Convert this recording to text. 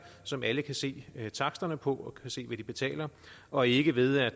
som alle kan se taksterne på og kan se hvad de betaler og ikke ved at